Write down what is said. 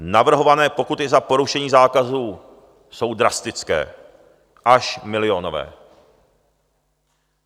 Navrhované pokuty za porušení zákazů jsou drastické, až milionové.